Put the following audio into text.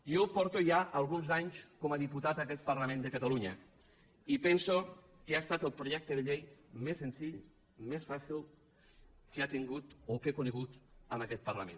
jo porto ja alguns anys com a diputat a aquest parlament de catalunya i penso que ha estat el projecte de llei més senzill més fàcil que ha tingut o que he conegut en aquest parlament